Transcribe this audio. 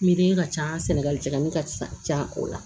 Miiri ka ca sɛnɛgali jigini ka ca o la